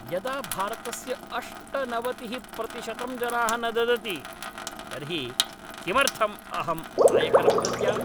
यदा भारतस्य अष्टनवतिः प्रतिशतं जनाः न ददति तर्हि किमर्थम् अहं आयकरं दद्याम्?